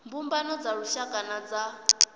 mbumbano dza lushaka na dza